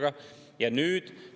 Huvitav küll, millistele inimestele?